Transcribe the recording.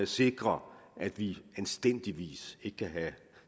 sikrer at vi anstændigvis ikke kan have